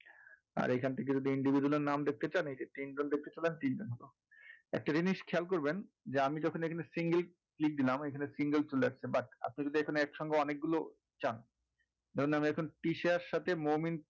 আর এইখান থেকে যদি individual নাম দেখতে চান তাহলে তখন এই যে একটা জিনিস খেয়াল করবেন যে আমি যখন এখানে single দিলাম এখানে single চলে আসছে but আপনি যদি এখানে একসঙ্গে অনেক গুলো চান ধরুন আমি এখন তৃষার সাথে মোমিন,